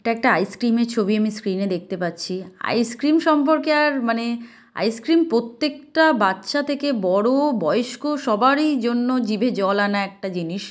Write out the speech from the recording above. এটা একটা আইসক্রিম -এর ছবি আমি স্ক্রিন -এ দেখতে পাচ্ছি আইসক্রিম সম্পর্কে আর মানে আইসক্রিম প্রত্যেকটা বাচ্চা থেকে বড় বয়স্ক সবারই জন্য জিভে জল আনা একটা জিনিস ।